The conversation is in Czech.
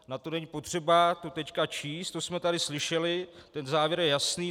Na to není potřeba to teď číst, to jsme tady slyšeli, ten závěr je jasný.